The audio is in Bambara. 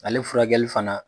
Ale furakɛli fana